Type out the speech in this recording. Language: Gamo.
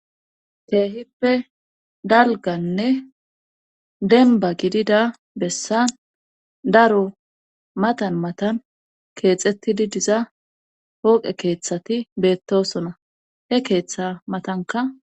Teehippe dalganne denba gidida bessan daro matan matan keexettidi diza hooqe keeththati beettosona he keeththa matanka.